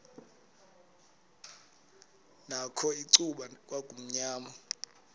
nakho icuba kwakumnyama